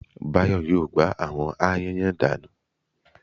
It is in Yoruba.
Báyọ̀ yóò gbá àwọn ááyán náà danù